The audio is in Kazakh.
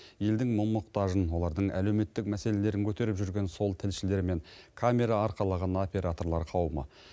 елдің мұң мұқтажын олардың әлеуметтік мәселелерін көтеріп жүрген сол тілшілер мен камера арқалаған операторлар қауымы